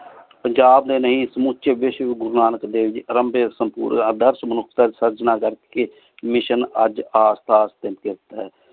ਪੰਜਾਬ ਡੀ ਨੀ ਏਸ ਮੋਚੀ ਵੇਸ਼ ਗੁਰੂ ਨਾਨਕ ਦੇਵ ਜੀ ਅਰਾਮ੍ਬ੍ਯ ਸਰਜਣ ਕਰ ਕੀ ਮਿਸ੍ਸਿਓਂ ਅਜੇ